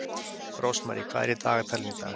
Rósmarý, hvað er í dagatalinu í dag?